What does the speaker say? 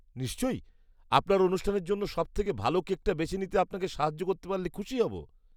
নিশ্চয়ই! আপনার অনুষ্ঠানের জন্য সবথেকে ভালো কেকটা বেছে নিতে আপনাকে সাহায্য করতে পারলে খুশি হবো।